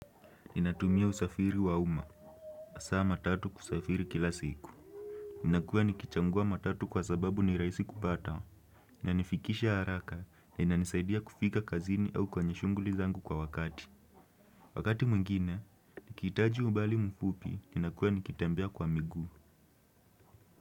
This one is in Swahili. Ninatumia usafiri wa uma. Hasa matatu kusafiri kila siku. Ninakuwa nikichagua matatu kwa sababu ni rahisi kupata. Na inanifikisha haraka na inanisaidia kufika kazini au kwenye shughuli zangu kwa wakati. Wakati mwingine, nikihitaji umbali mfupi, ninakuwa nikitembea kwa miguu.